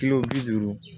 Kilo bi duuru